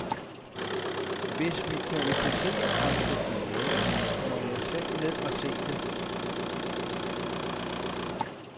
Hvis vi kvalificerer os til finalen, må jeg selv ned og se det.